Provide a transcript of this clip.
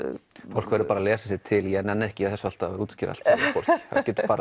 fólk verður bara að lesa sér til ég nenni ekki alltaf að hrútskýra allt það getur